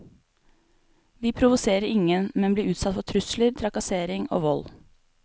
Vi provoserer ingen, men blir utsatt for trusler, trakassering og vold.